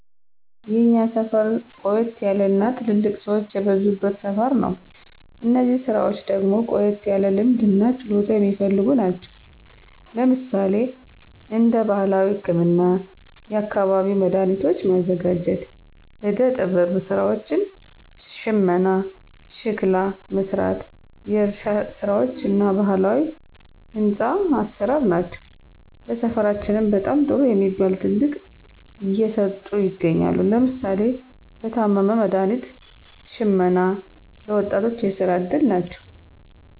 የእኛ ሰፈር ቆየት ያለ እና ትልልቅ ሰወች የበዙበት ሰፈር ነው። እነዚህ ስራወች ደግሞ ቆየት ያለ ልምድ እና ችሎታ የሚፈልጉ ናቸው። ለምሳሌ እንደ ባህላዊ ህክምና፣ የአካባቢው መዳኃኒቶች ማዘጋጀት፣ ዕደ ጥበብ ስራወች፣ ሽመና፣ ሸክላ መስራት፣ የእርሻ ስራወች እና ባህላዊ ህንፆ አሰራር ናቸው። ለሰፈራችንም በጣም ጥሩ የሚባል ጥቅም እየሰጡ ይገኛሉ። ለምሳሌ ለታመመ መድሀኒት ሽመና ለ ወጣቶች የስራ እድል ናቸው።